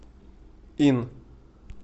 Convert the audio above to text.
ин